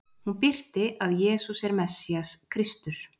Hún birti að Jesús er Messías, Kristur.